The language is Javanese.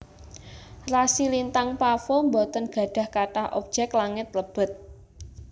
Rasi lintang pavo boten gadhah kathah objek langit lebet